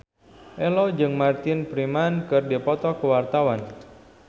Ello jeung Martin Freeman keur dipoto ku wartawan